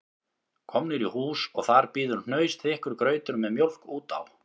Komnir í hús og þar bíður hnausþykkur grautur með mjólk út á